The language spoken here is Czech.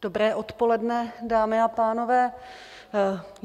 Dobré odpoledne, dámy a pánové.